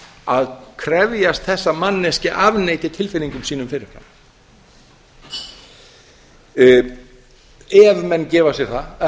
að krefjast þess að manneskja afneiti tilfinningum sínum fyrir fram ef menn gefa sér það að